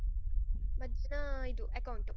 ಮಧ್ಯಾಹ್ನ ಇದು account .